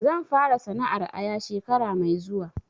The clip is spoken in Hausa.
Zan fara sana'ar aya shekara mai zuwa